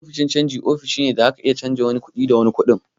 Ofishin canji ofishi ne da da zaka iya canja wani kuɗi da wani kuɗin.